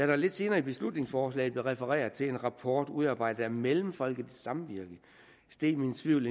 der lidt senere i beslutningsforslaget blev refereret til en rapport udarbejdet af mellemfolkeligt samvirke steg min tvivl